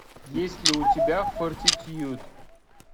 есть ли у тебя фортитьюд